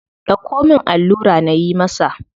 Dauko min allura nayi masa.